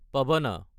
পাৱনা